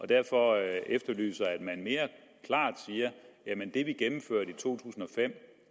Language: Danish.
derfor efterlyser jeg at man mere klart siger jamen det vi gennemførte i to tusind og fem